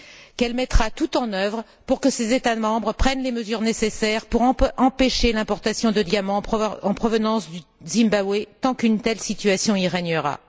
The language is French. qu'elle mettra tout en œuvre pour que ses États membres prennent les mesures nécessaires pour empêcher l'importation de diamants en provenance du Zimbabwe, tant qu'une telle situation y règnera?